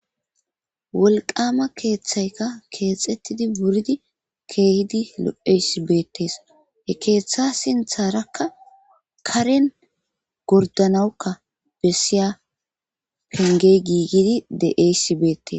wolqama keeththayka keexettidi wuridi keehidi lo7esi beetes he keeththa sintharakka karen gordanawukka bessiya penge giigidi de7esibeetes